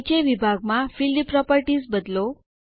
નીચે વિભાગમાં field properties બદલો